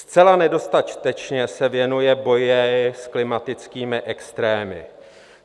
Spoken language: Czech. Zcela nedostatečně se věnuje boji s klimatickými extrémy.